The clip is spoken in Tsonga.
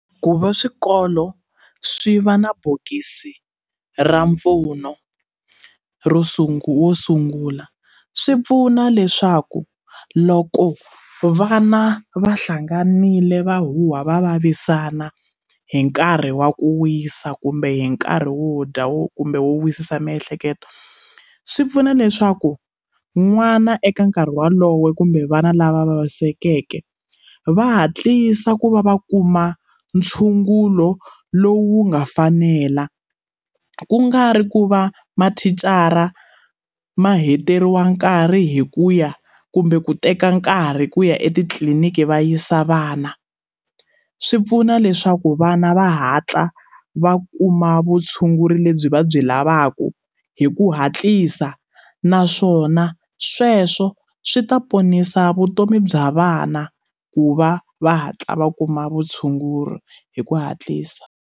Ku va swikolo swi va na bokisi ra mpfuno ro sungula wo sungula swi pfuna leswaku loko vana va hlanganile va huhwa va vavisana hi nkarhi wa ku wisa kumbe hi nkarhi wo dya wo kumbe wo wisisa miehleketo swi pfuna leswaku n'wana eka nkarhi walowo kumbe vana lava vavisekeke va hatlisa ku va va kuma ntshungulo lowu nga fanela ku nga ri ku va mathicara ma heteriwa nkarhi hi ku ya kumbe ku teka nkarhi ku ya etitliliniki va yisa vana swi pfuna leswaku vana va hatla va kuma vutshunguri lebyi va byi lavaka hi ku hatlisa naswona sweswo swi ta ponisa vutomi bya vana ku va va hatla va kuma vutshunguri hi ku hatlisa.